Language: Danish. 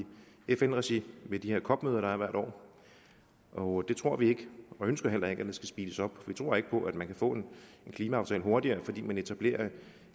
fn regi ved de her cop møder der er hvert år og vi tror ikke og ønsker heller ikke at der skal speedes op for vi tror ikke på at man kan få en klimaaftale hurtigere fordi man etablerer